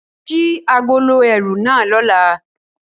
Ṣii agolo ẹru na lọla!